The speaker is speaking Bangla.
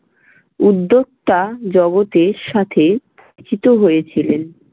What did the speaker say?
উদ্যোক্তা জগতের সাথে পরিচিত হয়েছিলেন।